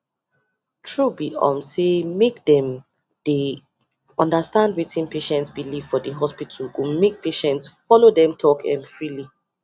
true be um say make them dey understand wetin patient belief for the hospital go make patients follow them talk um freely